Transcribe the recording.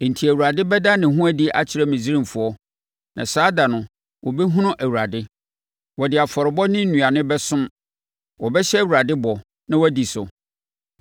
Enti Awurade bɛda ne ho adi akyerɛ Misraimfoɔ, na saa da no wɔbɛhunu Awurade. Wɔde afɔrebɔ ne nnuane bɛsom, wɔbɛhyɛ Awurade bɔ, na wɔadi so.